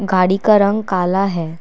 गाड़ी का रंग काला है।